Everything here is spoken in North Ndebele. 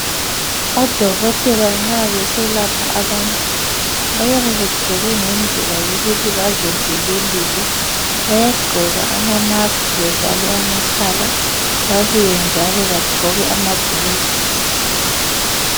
Odokotela nxa beselapha abantu bayabe begqoke ngendlela yokuthi bazivikelile bayagqoka ama mask bevale amakhala babuye njalo bagqoke amagilovisi